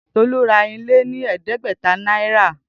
Tolu ra ile ni ẹdẹgbẹta naira.